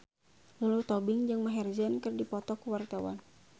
Lulu Tobing jeung Maher Zein keur dipoto ku wartawan